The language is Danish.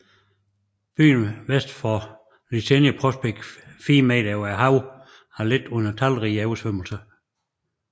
Byen vest for Liteyny Prospekt 4 m over havet har lidt under talrige oversvømmelser